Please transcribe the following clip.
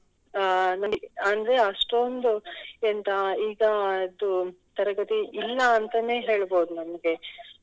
ಅಹ್ ಅಂದ್ರೆ ಅಷ್ಟೊಂದು ಎಂತ ಈಗ ಅದು ತರಗತಿ ಇಲ್ಲ ಅಂತನೆ ಹೇಳ್ಬಹುದು ನಮ್ಗೆ.